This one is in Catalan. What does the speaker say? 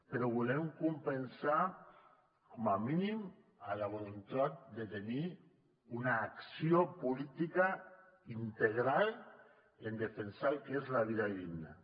però ho volem compensar com a mínim amb la voluntat de tenir una acció política integral en defensar el que és la vida digna